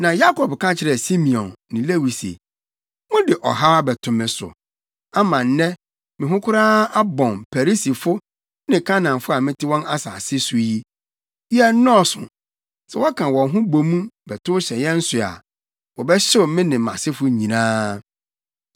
Na Yakob ka kyerɛɛ Simeon ne Lewi se, “Mode ɔhaw abɛto me so, ama nnɛ me ho koraa abɔn Perisifo ne Kanaanfo a mete wɔn asase so yi. Yɛnnɔɔso. Sɛ wɔka wɔn ho bo mu bɛtow hyɛ yɛn so a, wɔbɛhyew me ne mʼasefo nyinaa.”